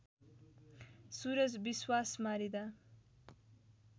Suraj Biswas मारिँदा